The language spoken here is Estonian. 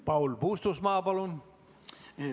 Paul Puustusmaa, palun!